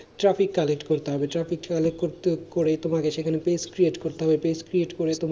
Traffic collect করতে হবে Traffic collect করেই তোমাকে সেখানে page create করতে হবে, page create করে,